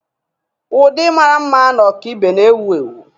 Ụdị mara mma na ọkaibe na-ewu ewu.